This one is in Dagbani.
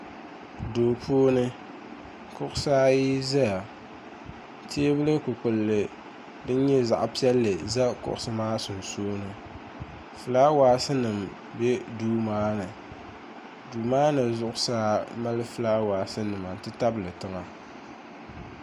duu puuni kuɣisi ayi zaya teebul' kpupkulli din nyɛ zaɣ' piɛlli za kuɣisi maa sunsuuni fulaawaasinima be duu maa ni duu maa ni zuɣusaa mali fulaawaasinima nti tabili tiŋa